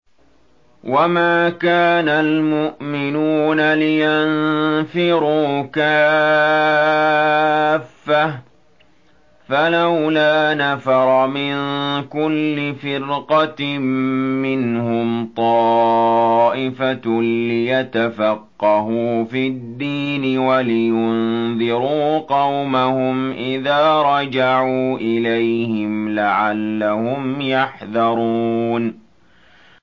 ۞ وَمَا كَانَ الْمُؤْمِنُونَ لِيَنفِرُوا كَافَّةً ۚ فَلَوْلَا نَفَرَ مِن كُلِّ فِرْقَةٍ مِّنْهُمْ طَائِفَةٌ لِّيَتَفَقَّهُوا فِي الدِّينِ وَلِيُنذِرُوا قَوْمَهُمْ إِذَا رَجَعُوا إِلَيْهِمْ لَعَلَّهُمْ يَحْذَرُونَ